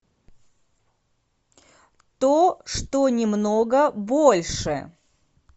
то что немного больше